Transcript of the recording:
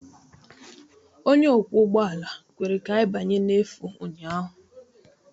Onye ọkwọ ụgbọala kwere ka anyị banye n'efu ụnyaahụ.